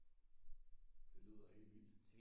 Det lyder helt vildt